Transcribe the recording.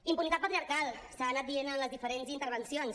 impunitat patriarcal s’ha anat dient en les diferents intervencions